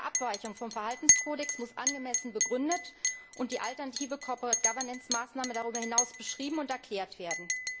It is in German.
Jede Abweichung vom Verhaltenskodex muss angemessen begründet und die alternative Corporate Governance Maßnahme darüber hinaus beschrieben und erklärt werden.